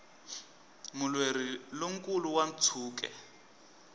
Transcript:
mulweri lo nkulu wa ntshuke